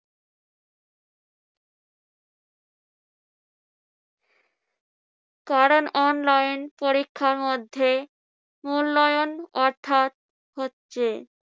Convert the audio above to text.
কারন online পরীক্ষার মধ্যে মূল্যায়ন অর্থাৎ হচ্ছে।